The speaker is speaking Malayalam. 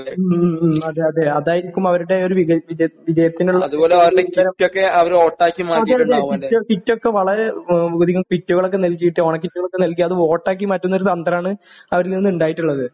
ഉം ഉം അതെ അതെ അതായിരിക്കും അവരുടെ ഒരു വിക വി വിജയത്തിനുള്ള ഇന്ധനം അതെ അതെ കിറ്റ് കിറ്റൊക്കെ വളരെ ഉ കിറ്റുകളൊക്കെ നൽകിയിട്ട് ഓണക്കിറ്റുകളൊക്കെ നൽകി അത് വോട്ട് ആക്കിമാറ്റുന്ന ഒരു തന്ത്രമാണ് അവരിൽനിന്നുണ്ടായിട്ടുള്ളത്.